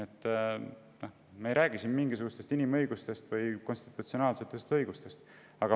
Seega me ei räägi siin mingisugustest inimõigustest või konstitutsionaalsetest õigustest.